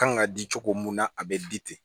Kan ka di cogo mun na a bɛ di